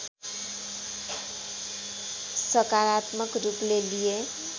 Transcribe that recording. सकारात्मक रूपले लिए